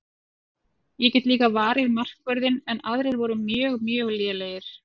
Ég get líka varið markvörðinn en aðrir voru mjög mjög lélegir.